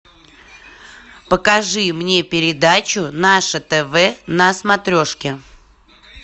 покажи мне передачу наше тв на смотрешке